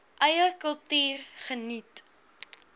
eie kultuur geniet